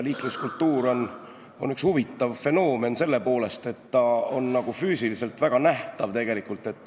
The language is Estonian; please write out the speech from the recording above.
Liikluskultuur on üks huvitav fenoomen selle poolest, et ta on füüsiliselt väga nähtav.